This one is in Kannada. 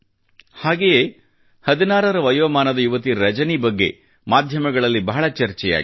ಹಾಗೆಯೇ 16 ರ ವಯೋಮಾನದ ಯುವತಿ ರಜನಿ ಬಗ್ಗೆ ಮಾಧ್ಯಮಗಳಲ್ಲಿ ಬಹಳ ಚರ್ಚೆಯಾಗಿದೆ